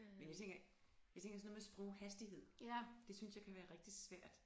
Men jeg tænker jeg tænker sådan noget med sproghastighed det synes jeg kan være rigtig svært